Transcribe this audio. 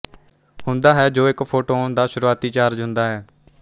ਹੁੰਦਾ ਹੈ ਜੋ ਇੱਕ ਫੋਟੌਨ ਦਾ ਸ਼ੁਰੂਆਤੀ ਚਾਰਜ ਹੁੰਦਾ ਹੈ